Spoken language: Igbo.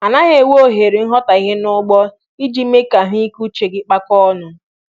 Anaghị enye ohere nghọtahie n'ugbo iji mee ka ahụ ike uche kpakọọ ọnụ